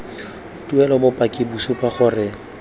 tuelo bopaki bo supa gore